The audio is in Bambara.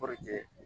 Kɔrɔkɛ